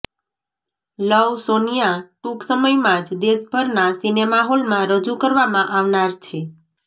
લવ સોનિયા ટુંક સમયમાં જ દેશભરના સિનેમાહોલમાં રજૂ કરવામાં આવનાર છે